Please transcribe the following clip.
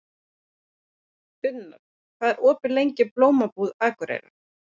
Unnar, hvað er opið lengi í Blómabúð Akureyrar?